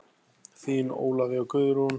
Þín Ólafía Guðrún.